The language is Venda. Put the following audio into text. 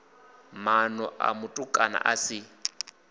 mana a mutukana a si